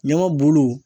Ɲɔgɔn bolow